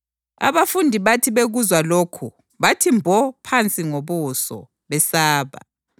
Abafundi bathi bekuzwa lokhu bathi mbo phansi ngobuso, besaba.